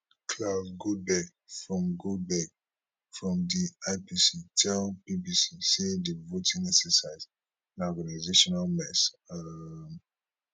claus goldbeck from goldbeck from di ipc tell bbc say di voting exercise na organisational mess um